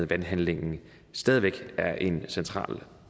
valghandlingen stadig væk er en central